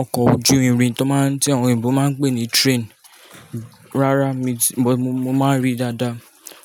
Ọkọ̀ ojú irin tí ọ̀yìnbó máa ń pè ní train, rárá mi, mo máa ń rí i dáadáa.